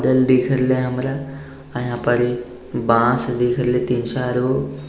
घर दिख रहले हमरा अ यहाँ पर बांस दिख रहले तीन चार गो।